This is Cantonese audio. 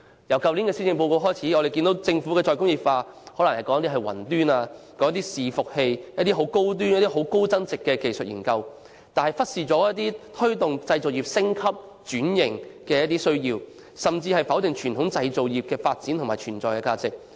由去年施政報告開始，我們看到政府的"再工業化"是指推動雲端伺服器等高端和高增值的技術研究，但忽視推動製造業升級轉型的需要，甚至否定傳統製造業的發展和存在價值。